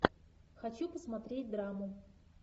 хочу посмотреть драму